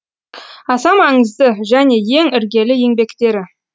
аса маңызды және ең іргелі еңбектері